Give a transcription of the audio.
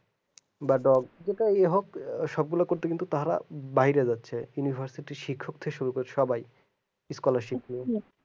যাদের যেটাই হোক সবগুলা করতে কিন্তু তারা বাইরে যাচ্ছে universiti শিক্ষক থেকে শুরু করে সবাই scolarchip নিয়ে